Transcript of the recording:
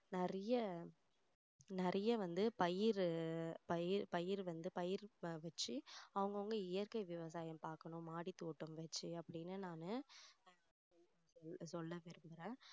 நிறைய நிறைய வந்து பயிர் பயிர் வந்து பயிர் பயிர் வச்சி அவங்க அவங்க இயற்கை விவசாயம் பார்க்கணும் மாடி தோட்டம் வச்சி அப்படின்னு நானு சொல்ல விரும்புறேன்